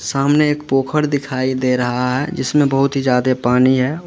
सामने एक पोखर दिखाई दे रहा है जिसमे बहुत ही ज्यादे पानी है।